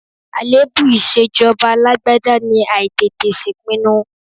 Àléébù ìṣèjọba alágbádá ni àìtètè ṣèpinnu.